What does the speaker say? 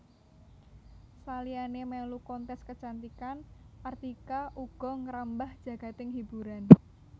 Saliyané mèlu kontes kecantikan Artika uga ngrambah jagading hiburan